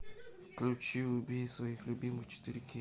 включи убей своих любимых четыре кей